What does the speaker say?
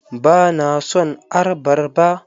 Ba na son arbarba.